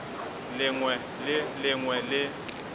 lengwe le le lengwe le